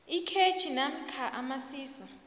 ikhetjhi namkha amasiso